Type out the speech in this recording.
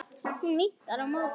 Hún vinkar á móti.